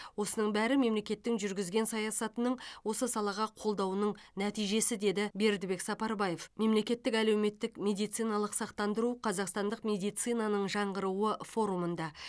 осының бәрі мемлекеттің жүргізген саясатының осы салаға қолдауының нәтижесі деді бердібек сапарбаев мемлекеттік әлеуметтік медициналық сақтандыру қазақстандық медицинаның жаңғыруы форумында